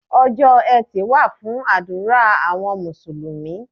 Ọjọ́ Ẹtì wà fún àdúrà àwọn Mùsùlùmí.